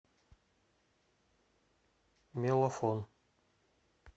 мелофон